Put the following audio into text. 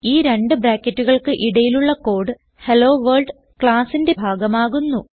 ഈ രണ്ട് ബ്രാക്കറ്റുകൾക്ക് ഇടയിലുള്ള കോഡ് ഹെല്ലോവർൾഡ് classന്റെ ഭാഗമാകുന്നു